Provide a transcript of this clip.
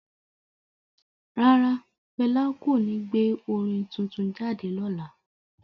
Rara, Fẹla ko ní gbé orin tuntun jáde lọla